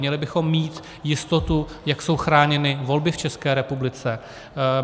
Měli bychom mít jistotu, jak jsou chráněny volby v České republice.